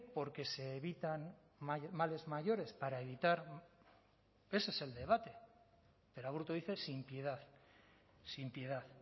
porque se evitan males mayores para evitar ese es el debate pero aburto dice sin piedad sin piedad